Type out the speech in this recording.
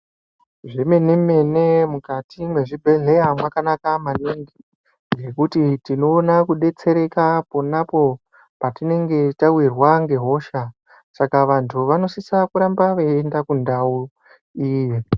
Zvemene-mene mukati mwezvibhehleya mwakanaka maningi ngekuti tinoona kudetsereka ponapo patinenge tawirwa ngehosha Saka vanhu vanosisa kuramba veienda kundau iyi.